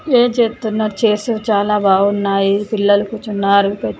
ప్రే చేస్తున్నారు చేస్తే చాలా బాగున్నాయి పిల్లలకు కుచున్నారు.